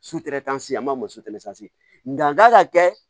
a ma nga n kan ka kɛ